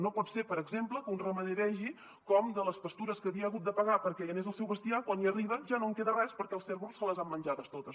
no pot ser per exemple que un ramader vegi com de les pastures que havia hagut de pagar perquè hi anés el seu bestiar quan hi arriba ja no en queda res perquè els cérvols se les han menjades totes